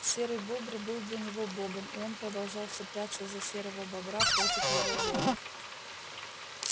серый бобр был для него богом и он продолжал цепляться за серого бобра против его воли